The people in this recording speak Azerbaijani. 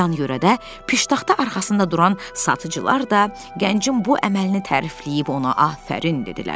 Yan-yörədə piştaxta arxasında duran satıcılar da gəncin bu əməlini tərifləyib ona afərin dedilər.